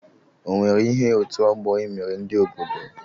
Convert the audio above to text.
ọwere ihe otu ọgbọ a mere ndị obodo?